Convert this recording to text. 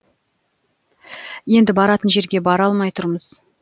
енді баратын жерге бара алмай тұрмыз